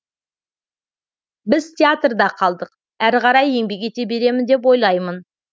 біз театрда қалдық әрі қарай еңбек ете беремін деп ойлаймын